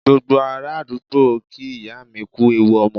Gbogbo ará àdúgbò ń kí ìyá mi kú ewu ọmọ